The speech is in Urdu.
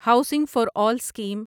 housing for all scheme